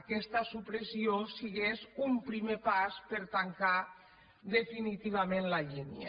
aquesta supressió sigués un primer pas per a tancar definitivament la línia